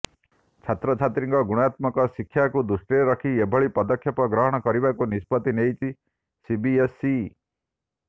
ଛାତ୍ରଛାତ୍ରୀଙ୍କ ଗୁଣାତ୍ମକ ଶିକ୍ଷାକୁ ଦୃଷ୍ଟିରେ ରଖି ଏଭଳି ପଦକ୍ଷେପ ଗ୍ରହଣ କରିବାକୁ ନିଷ୍ପତ୍ତି ନେଇଛି ସିବିଏସ୍ଇ